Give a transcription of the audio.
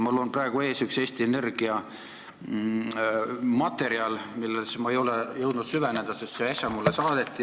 Mul on praegu ees üks Eesti Energia materjal, millesse ma ei ole jõudnud süveneda, sest see saadeti mulle äsja.